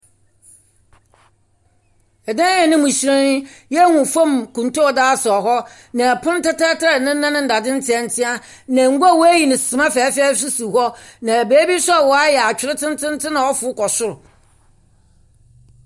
Dan a no mu hyerɛn. Yɛhunu famu kuntu a wɔdze asɛɛ hɔ, na pon tɛtrɛtɛɛ a ne nan ndzdze ntientie, na ngua a woeyi no suma fɛɛfɛɛfɛw nso si hɔ. Na beebi nso a wɔayɛ atwer tsentsentsen a ɔfor kɔ sor.